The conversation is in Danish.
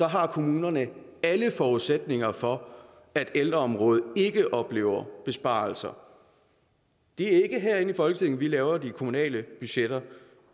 har kommunerne alle forudsætninger for at ældreområdet ikke oplever besparelser det er ikke herinde i folketinget vi laver de kommunale budgetter